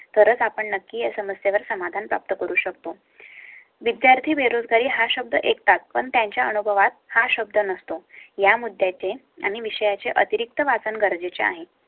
तरच आपण नक्की या समस्येवर समाधान प्राप्त करू शकतो. विद्यार्थी बेरोजगारी हर एक तात पण त्यांच्या अनुभवात हा शब्द नसतो. या मुद्द्या चे आणि विषया चे अतिरिक्त वाचन गरजेचे आहे.